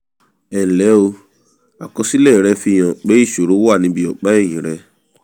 ẹnlẹ́ o àkọsílẹ̀ rẹ fi hàn pé ìṣòro wà níbi ọ̀pá ẹ̀yìn rẹ